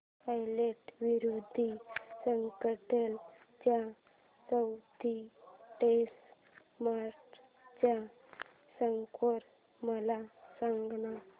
Ireland विरूद्ध Scotland च्या चौथ्या टेस्ट मॅच चा स्कोर मला सांगना